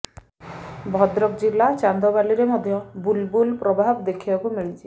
ଭଦ୍ରକ ଜିଲ୍ଲା ଚାନ୍ଦବାଲିରେ ମଧ୍ୟ ବୁଲ୍ବୁଲ୍ ପ୍ରଭାବ ଦେଖିବାକୁ ମିଳିଛି